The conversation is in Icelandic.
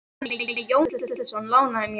Maður að nafni Jón Gíslason lánaði mér.